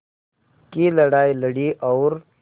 की लड़ाई लड़ी और